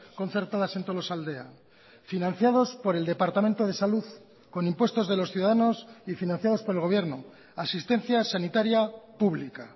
concertadas en tolosaldea financiados por el departamento de salud con impuestos de los ciudadanos y financiados por el gobierno asistencia sanitaria pública